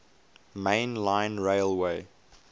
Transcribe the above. main line railway